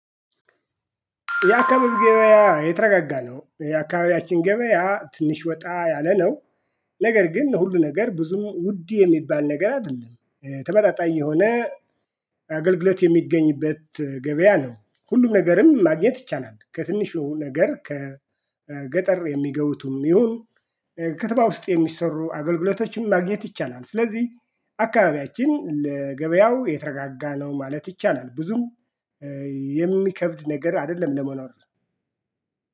የአካባቢ ገበያ የተረጋጋ ነው የአካባቢያችን ገበያ ትንሽ ወጣ ያለ ነው። ነገር ግን ሁሉ ነገር ብዙም ውድ የሚባል ነገር አይደለም ተመጣጣኝ የሆነ አገልግሎት የሚገኝበት ገበያ ነው። ሁሉም ነገርም ማግኘት ይቻላል ከትንሹ ነገር ከገጠር የሚገቡትም ይሁን ከተማ ውስጥ የሚሰሩ አገልግሎቶችም ማግኘት ይቻላል። ስለዚህ አካባቢያችን ለገበያው የተረጋጋ ነው ማለት ይቻላል። ብዙም የሚከብድ ነገር አይደለም ለመኖር።